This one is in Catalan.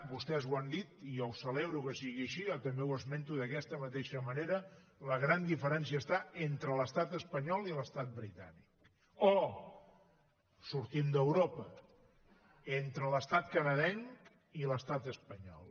vostès ho han dit i jo ho celebro que sigui així jo també ho esmento d’aquesta mateixa manera la gran diferència està entre l’estat espanyol i l’estat britànic o sortim d’europa entre l’estat canadenc i l’estat espanyol